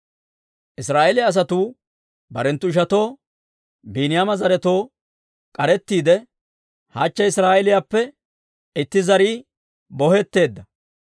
Israa'eeliyaa asatuu barenttu ishatoo, Biiniyaama zaretoo k'arettiide, «Hachche Israa'eeliyaappe itti zarii bohetteedda.